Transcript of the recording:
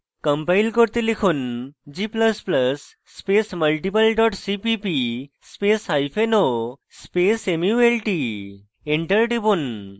compile করতে লিখুন g ++ space multiple dot cpp spaceo space mult enter টিপুন